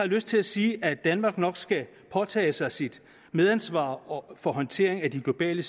lyst til at sige at danmark nok skal påtage sig sit medansvar for håndteringen af de globale